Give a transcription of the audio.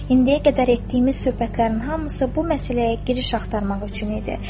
İndiyə qədər etdiyimiz söhbətlərin hamısı bu məsələyə giriş axtarmaq üçün idi.